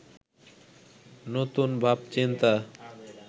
নতুন ভাবচিন্তা